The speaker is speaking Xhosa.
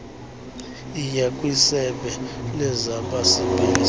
yiya kwisebe lezabasebenzi